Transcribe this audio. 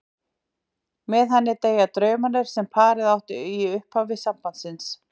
Með henni deyja draumarnir sem parið átti í upphafi sambands síns.